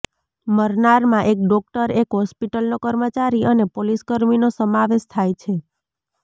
મરનારમાં એક ડોકટર એક હોસ્પિટલનો કર્મચારી અને પોલીસકર્મીનો સમાવેશ થાય છે